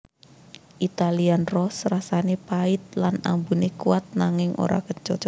Italian Roast rasané pahit lan ambuné kuat nanging ora kecut